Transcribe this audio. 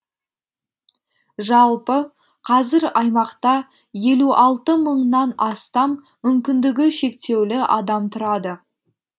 жалпы қазір аймақта елу мыңнан астам мүмкіндігі шектеулі адам тұрады